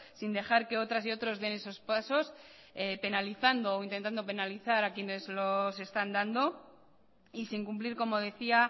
sin dejar que otras y otros den esos pasos penalizando o intentando penalizar a quienes los están dando y sin cumplir como decía